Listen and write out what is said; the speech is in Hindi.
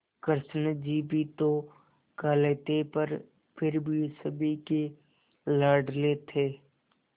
कृष्ण जी भी तो काले थे पर फिर भी सभी के लाडले थे